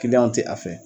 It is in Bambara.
Kiliyanw tɛ a fɛ